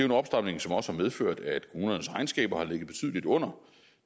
en opstramning som også har medført at kommunernes regnskaber har ligget betydelig under